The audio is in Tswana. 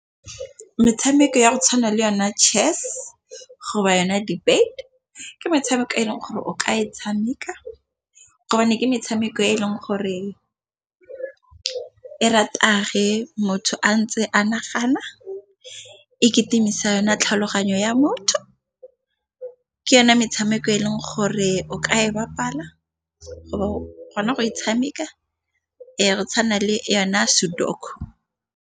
Metshameko ya go tshwana le yone chess go ba yona dibate. Ke metshameko e leng gore o ka e tshameka gobane ke metshameko e e leng gore e rata ge motho a ntse a ke nagana, e ketemisa yone tlhaloganyo ya motho. Ke yone metshameko e leng gore o ka e bapala kgona go e tshameka e tshwana le yona .